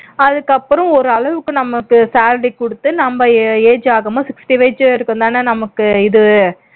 அதுக்கப்புறம் ஒரளவுக்கு நமக்கு salary குடுத்து நம்ம age ஆகும்போது sixty age வரைக்கும் தானே நமக்கு இது